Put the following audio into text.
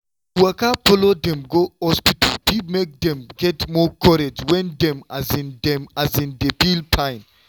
to waka follow dem go hospital fit make dem get more courage when dem um no um dey feel fine.